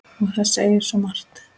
Og það segir svo margt.